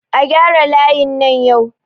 A gyara layin nan yau!